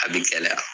A bi gɛlɛya